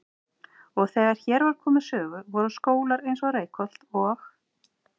Og þegar hér var komið sögu voru skólar eins og Reykholt og